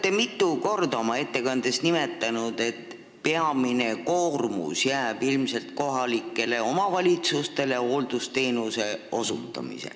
Te mitu korda nimetasite, et peamine koormus hooldusteenuse osutamisel jääb ilmselt kohalikele omavalitsustele.